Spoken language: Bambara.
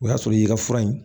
O y'a sɔrɔ y'i ka fura ye